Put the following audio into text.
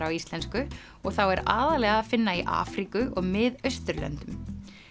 á íslensku og þá er aðallega að finna í Afríku og Mið Austurlöndum